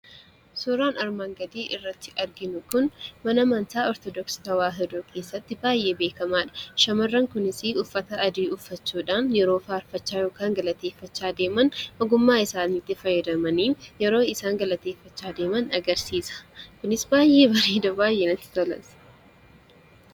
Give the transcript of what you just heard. Suuraan armaan gadii irratti arginu kun, mana amantaa Ortodoksii tewaahidoo keessatti baayyee beekamaadha. Shamarran kunis uffata adii uffachuudhaan yeroo faarfachaa yookaan galateeffachaa deeman ogummaa isaaniitti fayyadamanii yeroo isaan galateeffachaa deeman agarsiisa. Kunis baayyee bareeda baayyee namatti tolas.